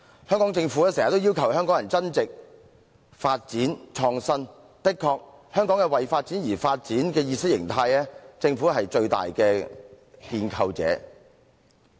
香港政府經常要求香港人增值、發展和創新，無疑香港為發展而發展的意識形態，政府是最大的建構者。